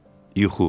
Yuxu.